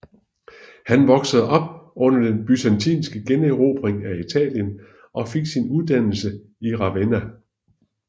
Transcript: Han voksede op under den byzantinske generobring af Italien og fik sin uddannelse i Ravenna